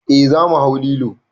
Eh za mu hau lilo.